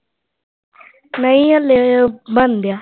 ਨਹੀ ਹਾਲੇ ਉਹ ਬਣਦਿਆਂ।